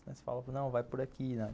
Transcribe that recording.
Você fala, não, vai por aqui, não.